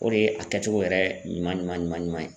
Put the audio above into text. O de ye a kɛcogo yɛrɛ ɲuman ɲuman ye.